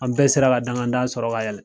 An bɛɛ sera ka dangadan sɔrɔ ka yɛlɛ